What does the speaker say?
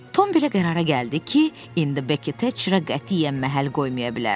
Tom belə qərara gəldi ki, indi Bekki Teçrə qətiyyən məhəl qoymaya bilər.